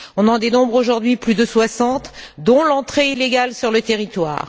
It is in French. On en dénombre aujourd'hui plus de soixante, dont l'entrée illégale sur le territoire.